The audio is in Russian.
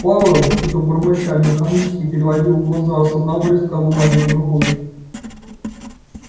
пауэлл что-то бормоча механически переводил глаза с одного листка бумаги на другой